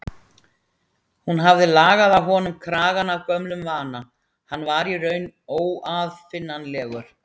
Hún hafði lagað á honum kragann af gömlum vana, hann var í raun óaðfinnanlegur.